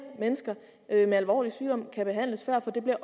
mennesker med alvorlige sygdomme kan behandles før fordi det